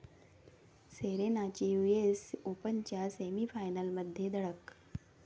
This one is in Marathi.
सेरेनाची युएस ओपनच्या सेमीफायनलमध्ये धडक